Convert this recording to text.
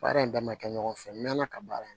Baara in da ma kɛ ɲɔgɔn fɛ n mɛ ala ka baara in